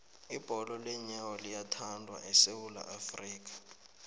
ibholo leenyawo liyathandwa esewula afrika